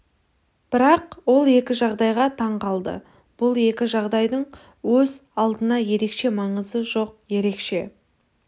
бірақ ол екі жағдайға таң қалды бұл екі жағдайдың өз алдына ерекше маңызы жоқ ерекше